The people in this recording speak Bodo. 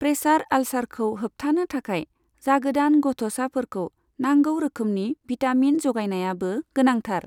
प्रेसार आल्सारखौ होबथानो थाखाय जागोदान गथ'साफोरखौ नांगौ रोखोमनि भिटामिन जगायनायाबो गोनांथार।